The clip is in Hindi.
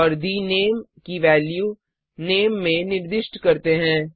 और the name की वैल्यू नामे में निर्दिष्ट करते हैं